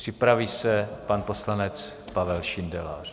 Připraví se pan poslanec Pavel Šindelář.